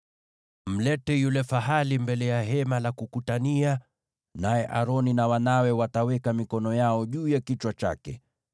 “Mlete yule fahali mbele ya Hema la Kukutania, naye Aroni na wanawe wataweka mikono yao juu ya kichwa chake.